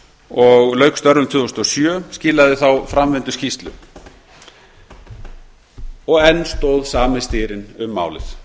og lauk störfum tvö þúsund og sjö skilaði þá framvinduskýrslu og enn stóð sami styrinn um málið